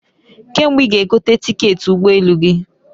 Kee mgbe i ga egote tiketi ugbo elu gi?